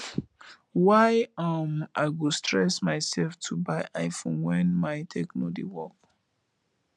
why um i go stress myself to by iphone wen my techno dey work